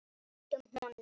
Höldum honum!